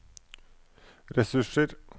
ressurser